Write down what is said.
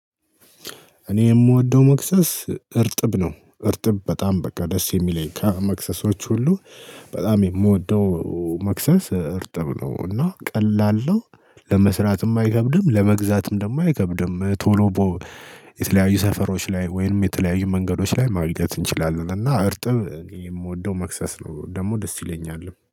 እኔ የምወደው መክሰስ እርጥብ ነው። እርጥብ በጣም በቃ ደስ የሚለኝ ከመክሰሶች ሁሉ በጣም የምወደው መክሰስ እርጥብ ነው። እና ቀላል ነው ለመስራትም አይከብድም ለመግዛትም ደግሞ አይከብድም። ቶሎ የተለያዩ ሰፈሮች ላይ ወይንም የተለያዩ መንገዶች ላይ ማግኘት እንችላለን። እና እርጥብ የምወደው መክሰስ ነው ደግሞ ደስ ይለኛልም